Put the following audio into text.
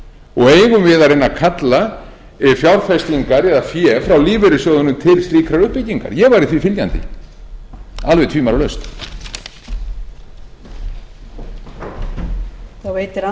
og eigum við að reyna að kalla fjárfestingar eða fé frá lífeyrissjóðunum til slíkrar uppbyggingar ég væri því fylgjandi alveg tvímælalaust